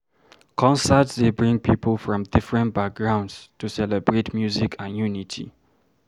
Concerts dey bring people from different backgrounds to celebrate music and unity.